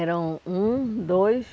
Eram um, dois...